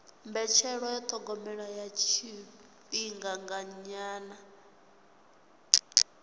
mbetshelwa ya thogomelo ya tshifhinganyana